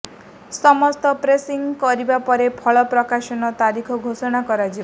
ସମସ୍ତ ପ୍ରୋସେସିଂ ସରିବା ପରେ ଫଳ ପ୍ରକାଶନ ତାରିଖ ଘୋଷଣା କରାଯିବ